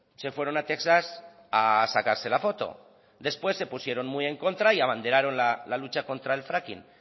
se fueron a texas a sacarse la foto después se pusieron muy en contra y abanderaron la lucha contra el fracking